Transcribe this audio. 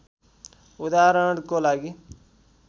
उदाहरणको लागि